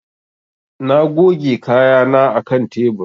Na goge kayana a kan tebur.